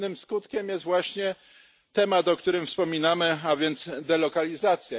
Innym skutkiem jest właśnie temat, o którym wspominamy, a więc delokalizacja.